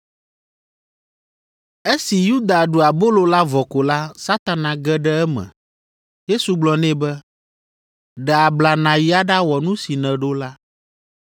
Esi Yuda ɖu abolo la vɔ ko la, Satana ge ɖe eme. Yesu gblɔ nɛ be, “Ɖe abla nàyi aɖawɔ nu si nèɖo la.”